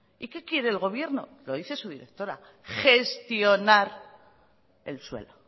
y qué quiere el gobierno lo dice su directora gestionar el suelo